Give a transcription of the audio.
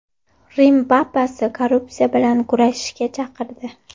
Rim papasi korrupsiya bilan kurashishga chaqirdi.